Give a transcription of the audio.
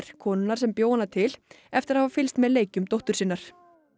konunnar sem bjó hana til eftir að hafa fylgst með leikjum dóttur sinnar